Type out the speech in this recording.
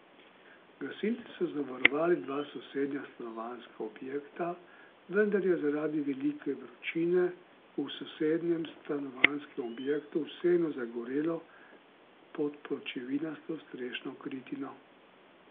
Gasilci so zavarovali dva sosednja stanovanjska objekta, vendar je zaradi velike vročine v sosednjem stanovanjskem objektu vseeno zagorelo pod pločevinasto strešno kritino.